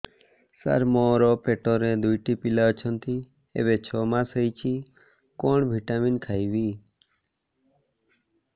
ସାର ମୋର ପେଟରେ ଦୁଇଟି ପିଲା ଅଛନ୍ତି ଏବେ ଛଅ ମାସ ହେଇଛି କଣ ଭିଟାମିନ ଖାଇବି